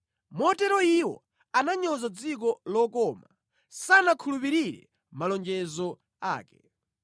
Motero iwo ananyoza dziko lokoma; sanakhulupirire malonjezo ake.